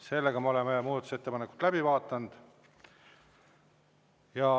Sellega oleme muudatusettepanekud läbi vaadanud.